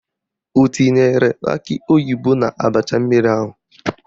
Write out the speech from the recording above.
O tinyere akị oyibo n'abacha mmiri ahụ?